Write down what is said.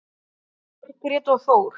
Margrét og Þór.